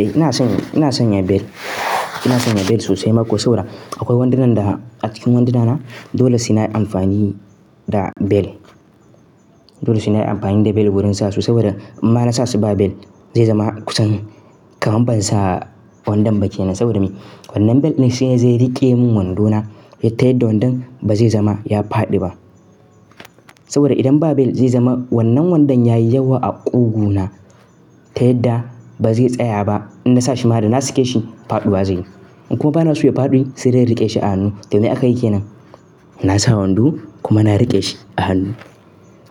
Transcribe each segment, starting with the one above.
Eh ina sanya, ina sanya bel. Ina sanya bel sosai ma ko saura. Akwai wandunan da a cikin wandunana dole sai nayi amfani da bel. Dole sai na amfani da bel wurin sa su saboda in ba na sa su ba bel zai zama kusan kamar ban sa wandon ba kenan. Saboda me? Wannan bel ne shi zai rike min wando na ya tayadda wandon ba zai zama ya faɗi ba. Saboda idan ba bel zai zama wannan wandon ya yi yawa a ƙugu na ta yadda ba zai tsaya ba. In na sa shi ma da na sake shi faɗiwa zai yi. In kuma bana so ya faɗi sai dai in riƙe shi a hannu. Kamar yadda aka yi ke nan. Na sa wando kuma na riƙe shi a hannu.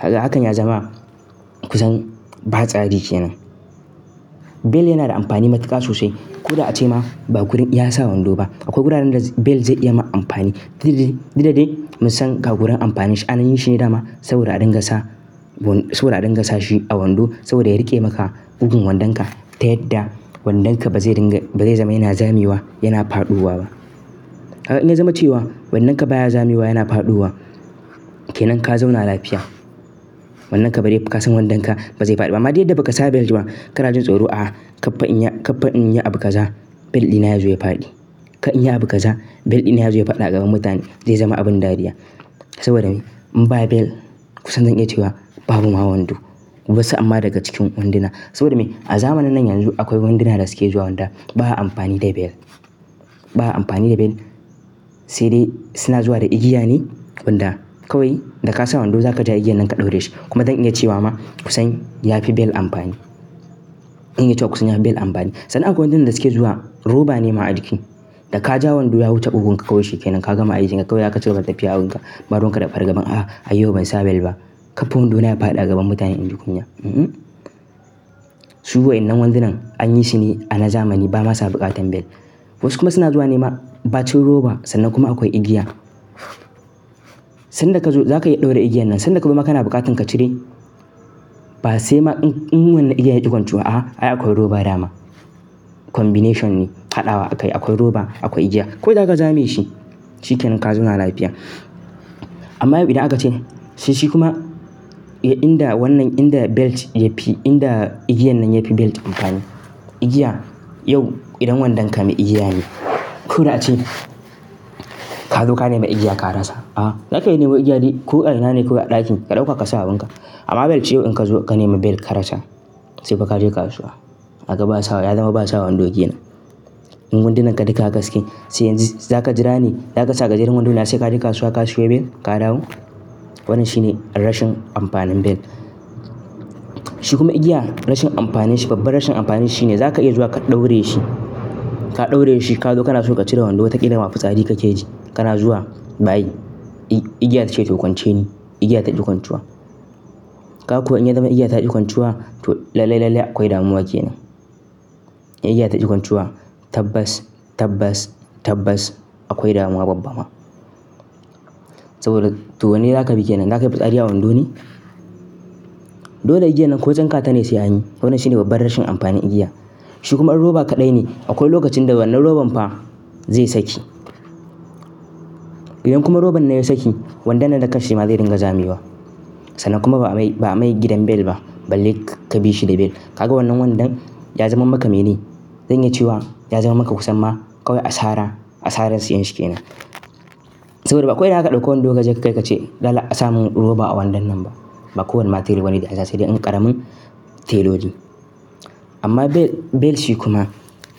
Kagan hakan ya zama kusan ba sari kenan. Bel yana da amfani matuƙa sosai. Ko da ace ma ba gurin iya sa wando ba. Akwai wuraren da bel zai iya ma amfani. Didde didde, mu san ka gurin amfani shi. An yi shi ne dama saboda a dinga sa, saboda a dinga sa shi a wando saboda ya riƙe maka kugun wandonka ta yadda wandonka ba zai dinga, ba zai zama yana zamewa, yana faɗuwa ba. Haka in ya zama cewa wannanka baya zamewa yana faɗuwa, ke nan ka zauna lafiya. Wandanka bari ka san wandonka ba zai faɗi ba. Amma dai yadda baka sa bel ba kuma ka rajin tsoro a'a kafa in ya, kafa in ya abuka za bel dina ya zo ya faɗi. Ka in ya abuka za bel dina ya zo ya faɗi a gaban mutane, zai zama abin dariya. Saboda me? In ba bel, ku san zan iya cewa babu ma wando. Wasu amma daga cikin wanduna. Saboda me? A zamanin nan yanzu akwai wanduna da suke zuwa wanda baya amfani da bel. Baya amfani da bel sai dai suna zuwa da igiya ne wanda kawai da ka sa wando za ka je igiyan nan ka ɗaure shi. Kuma zan iya cewa ma kusan ya fi bel amfani. Zan iya cewa kusan ya fi bel amfani. Sannan akwai wandunan da suke zuwa roba ne ma a jiki. Da ka ja wando ya wuce bugun ka kawai shi ke nan. Ka gama ajiye gakkawai ya ka cire tafiya abunka. Madunka da fargaben a'a a yau ban sa bel ba. Kafin wando na ya faɗi a gaban mutane in ji kunya. Hmm hmm. Su wainnan wandunan an yi shi ne a na zamani ba ma su buƙatar bel. Wasu kuma suna zuwa ne ma ba cin roba sannan kuma akwai igiya. Sannan da ka zo za ka iya ɗaura igiyan nan sanda kuma ka na buƙatan ka cire. Ba sai ma in wannan igiyan ya yi ƙwancuwa a'a ai akwai roba dama. Combination ne, haɗawa akai. Akwai roba, akwai igiya. Koh zaka ja me shi shi kenan ka zauna lafiya. Amma yau idan aka ce sai shi kuma inda wannan inda belt ya fi, inda igiyan nan ya fi belt amfani. Igiya yau idan wandon ka mai igiya ne ko da ace ka zo ka nema igiya ka rasa. A'a, za ka iya nema igiya dai ko a ɗaki ka ɗauka ka sa abunka. Amma bel ce yau in ka zo ka nema bel ka rasa sai fa ka je kasuwa. Haka ba a sawa, ya zama ba a sawa wando ke nan. In wandunan ka duka haka suke sai yanzu za ka jira ne, za ka sa gajeren wando na sai ka je kasuwa ka sayo bel ka dawo? Wannan shi ne rashin amfanin bel. Shi kuma igiya rashin amfanin shi, babban rashin amfanin shi ne za ka iya zuwa ka ɗaure shi. Ka ɗaure shi ka zo ka na so ka cire wando ta ƙila mafi tsari kake ji. Kana zuwa bayi. Igiya tace to kwance ni. Igiya ta ƙi kwancuwa. Ka kuwa in ya zama igiya ta ƙi kwancuwa to lalle lalle akwai damuwa kenan. In igiya ta ƙi kwancuwa tabbas tabbas tabbas akwai damuwa babba ma. Saboda to wanne za ka biki nan? Za ka yi batsari a wando ne? Dole igiya nan ko jan kata ne sai anyi. Wannan shine babban rashin amfanin igiya. Shi kuma roba kaɗai ne. Akwai lokacin da wannan roban fa zai saki. Idan kuma roban na ya saki, wandon nan da ƙarshe ma zai dinga zamewa. Sannan kuma ba a mai, ba a mai gidan bel ba balle ka bi shi da bel. Ka ga wannan wandon ya zama maka mene. Zan iya cewa ya zama maka kusan ma kawai asara, asarar siyanshi kenan. Saboda ba akwai nan aka ɗauko wando gajen kai ka ce dala a sa mun roba a wandon nan ba. Ba kowane ma tela wane ne a sashe sai dai in ƙaramin teloli. Amma bel, bel shi kuma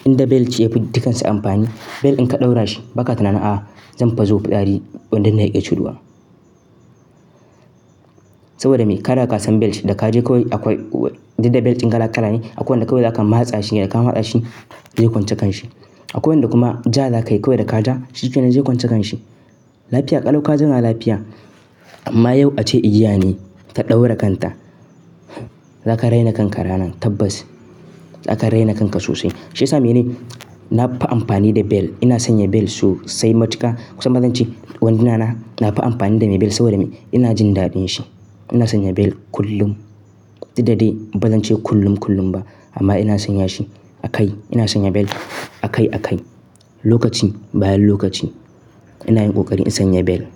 inda bel ce ya fi dukansu amfani, bel in ka ɗaura shi baka tunana a'a zan fazo fusari wandon na ya ƙi cuduwa. Saboda me? Kada ka san bel shi da ka je kawai akwai-- didde bel ƙin kala kala ne. Akwai wanda kawai za ka mahaza shi ne da ka mahaza shi zai kwance kan shi. Akwai wanda kuma ja za ka yi kawai da ka ja shi kenan zai kwance kan shi. Lafiya, ƙalau ka zauna lafiya amma yau ace igiya ne ta ɗaura kanta. Za ka raina kanka ranan tabbas. Za ka raina kanka sosai. Shi ya sa me ne? Na fi amfani da bel. Ina sanya bel sosai matuƙa. Kusan bazan ce wandunana na fi amfani da me bel saboda me? Ina jin daɗin shi. Ina sanya bel kullum. Didde didde bazan ce kullum kullum ba amma ina sanya shi a kai. Ina sanya bel a kai a kai. Lokaci bayan lokaci ina yin ƙoƙari in sanya bel.